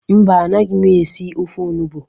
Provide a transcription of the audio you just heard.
Mba, anaghị m esi ofe olugbụ